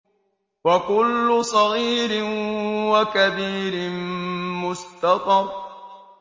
وَكُلُّ صَغِيرٍ وَكَبِيرٍ مُّسْتَطَرٌ